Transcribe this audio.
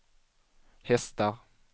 hästar